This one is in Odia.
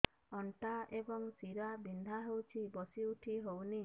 ଅଣ୍ଟା ଏବଂ ଶୀରା ବିନ୍ଧା ହେଉଛି ବସି ଉଠି ହଉନି